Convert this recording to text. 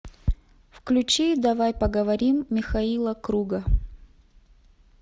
включи давай поговорим михаила круга